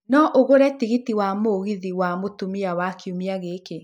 No ũgũre tigiti wa mũgithi wa mũthia wa kiumia gĩkĩ